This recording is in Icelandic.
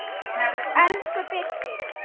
Elsku Birkir.